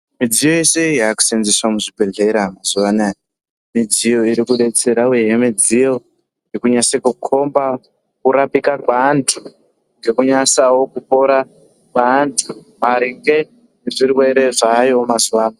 Mudziyo yese yakusenzeswa muzvibhedhlera mazuva anawa midziyo inotidetsera uye midziyo yekunasa kukomba kurapika kweantu ngekunyasawo kupora kweantu maringe nezvirwere zvayo mazuva ano...